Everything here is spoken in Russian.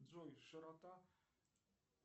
джой широта